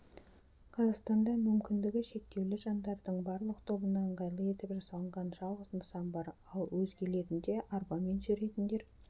қазақстанда мүмкіндігі шектеулі жандардың барлық тобына ыңғайлы етіп жасалынған жалғыз нысан бар ал өзгелерінде арбамен жүретіндер